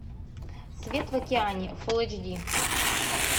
свет в океане фул эйч ди